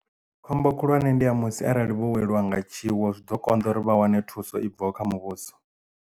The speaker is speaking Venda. Khombo khulwane ndi ya musi arali vho weliwa nga tshiwo zwi ḓo konḓa uri vha wane thuso i bvaho kha muvhuso.